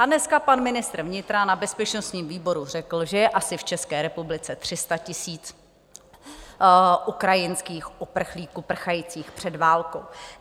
A dneska pan ministr vnitra na bezpečnostním výboru řekl, že je asi v České republice 300 000 ukrajinských uprchlíků prchajících před válkou.